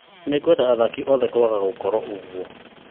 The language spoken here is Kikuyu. Nĩngwenda athaki othe kwaga gũkorũo ũguo